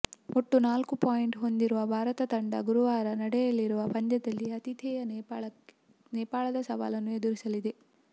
ಒಟ್ಟು ನಾಲ್ಕು ಪಾಯಿಂಟ್ ಹೊಂದಿರುವ ಭಾರತ ತಂಡ ಗುರುವಾರ ನಡೆಯಲಿರುವ ಪಂದ್ಯದಲ್ಲಿ ಆತಿಥೇಯ ನೇಪಾಳದ ಸವಾಲನ್ನು ಎದುರಿಸಲಿದೆ